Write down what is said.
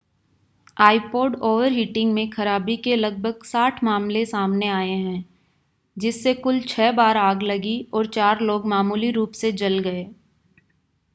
iPod overheating में खराबी के लगभग 60 मामले सामने आए हैं जिससे कुल छह बार आग लगी और चार लोग मामूली रूप से जल गए